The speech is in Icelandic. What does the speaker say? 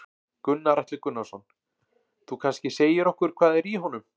Gunnar Atli Gunnarsson: Þú kannski segir okkur hvað er í honum?